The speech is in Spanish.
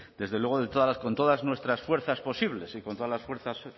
desde luego con todas nuestras fuerzas posibles y con todas las fuerzas